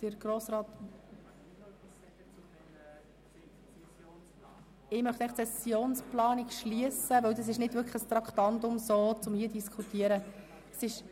Ich möchte das Thema Sessionsplanung abschliessen, denn es ist nicht ein hier zu diskutierendes Traktandum.